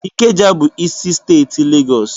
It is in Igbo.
Ikeja bụ isi steeti Legọs.